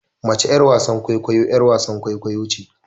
Mace yar wasan kwaikwayo yar wasan kwaikwayo ce